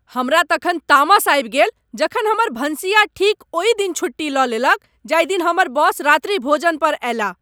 हमरा तखन तामस आबि गेल जखन हमर भनसिया ठीक ओहि दिन छुट्टी लऽ लेलक जाहि दिन हमर बॉस रात्रि भोज पर आएलाह ।